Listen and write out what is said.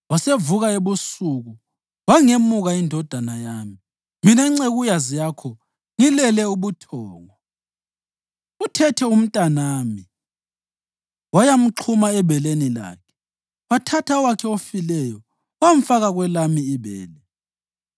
Wasevuka ebusuku wangemuka indodana yami mina ncekukazi yakho ngilele ubuthongo. Uthethe umntanami wayamxhuma ebeleni lakhe, wathatha owakhe ofileyo wamfaka kwelami ibele.